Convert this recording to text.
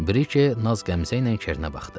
Brike naz qəmzəylə Kerinə baxdı.